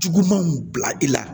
Jugumanw bila i la